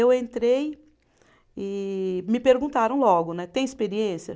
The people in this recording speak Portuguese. Eu entrei e me perguntaram logo né, tem experiência?